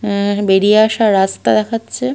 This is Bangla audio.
অ্যা বেরিয়ে আসার রাস্তা দেখাচ্ছে ।